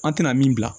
An tɛna min bila